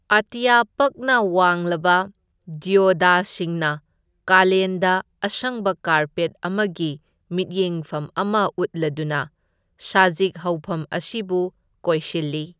ꯑꯇꯤꯌꯥ ꯄꯛꯅ ꯋꯥꯡꯂꯕ ꯗ꯭ꯌꯣꯗꯥꯁꯤꯡꯅ ꯀꯥꯂꯦꯟꯗ ꯑꯁꯪꯕ ꯀꯥꯔꯄꯦꯠ ꯑꯃꯒꯤ ꯃꯤꯠꯌꯦꯡꯐꯝ ꯑꯃ ꯎꯠꯂꯗꯨꯅ ꯁꯖꯤꯛ ꯍꯧꯐꯝ ꯑꯁꯤꯕꯨ ꯀꯣꯏꯁꯤꯜꯂꯤ꯫